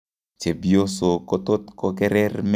Chepyosok kotot kokerer met yakakosich lakwet